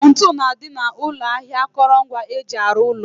Ntu na-adị n'ụlọ ahịa akụrụngwa eji arụ ụlọ